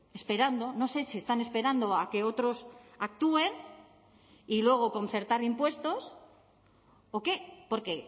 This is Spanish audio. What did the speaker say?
esperando no sé si están esperando a que otros actúen y luego concertar impuestos o qué porque